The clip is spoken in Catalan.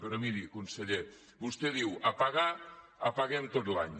però miri conseller vostè diu apagar apaguem tot l’any